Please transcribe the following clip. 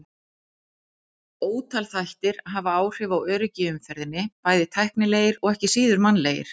Ótal þættir hafa áhrif á öryggi í umferðinni, bæði tæknilegir og ekki síður mannlegir.